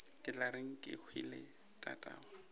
ke tla reng kehwile tatagwe